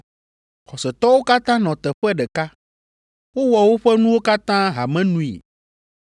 Xɔsetɔwo katã nɔ teƒe ɖeka, wowɔ woƒe nuwo katã hamenui,